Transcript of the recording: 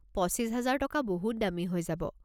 পঁচিছ হাজাৰ টকা বহুত দামী হৈ যাব।